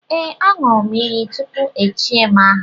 Ee, a ṅụrụ m iyi tupu echie m aha